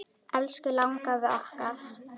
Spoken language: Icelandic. Elsku langafi okkar.